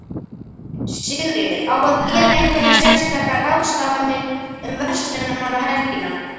Sigríður: Á að gera einhverjar sérstakar ráðstafanir um verslunarmannahelgina?